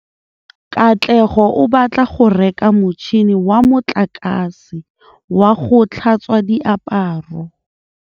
Katlego o batla go reka motšhine wa motlakase wa go tlhatswa diaparo.